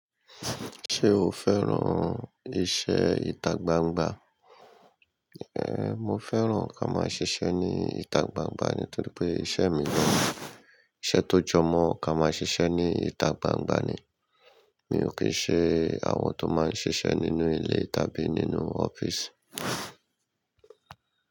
Ṣé o fẹ́ran iṣẹ́ ìta gbangba? Mo fẹ́ran ká máa ṣiṣẹ́ ní ìta gbangba ni nítorí pé iṣẹ́ mi jẹ́ iṣẹ́ tó jọmọ́ ká máa ṣiṣẹ́ ní ìta gbangba ni. Mi ò kí i ṣe àwọn tó máa ń ṣiṣẹ́ nínú ilé tàbí nínú ọ́fíìsì.